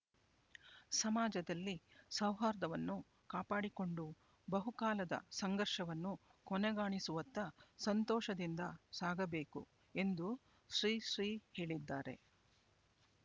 ಸಮಾಜದಲ್ಲಿ ಸೌಹಾರ್ಧವನ್ನು ಕಾಪಾಡಿಕೊಂಡು ಬಹುಕಾಲದ ಸಂಘರ್ಷವನ್ನು ಕೊನೆಗಾಣಿಸುವತ್ತ ಸಂತೋಷದಿಂದ ಸಾಗಬೇಕು ಎಂದು ಶ್ರೀ ಶ್ರೀ ಹೇಳಿದ್ದಾರೆ